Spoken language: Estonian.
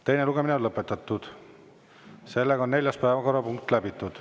Teine lugemine on lõpetatud ja neljas päevakorrapunkt läbitud.